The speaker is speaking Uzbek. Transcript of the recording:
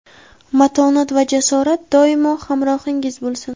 matonat va jasorat doimo hamrohingiz bo‘lsin!.